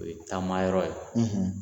O ye taama yɔrɔ ye.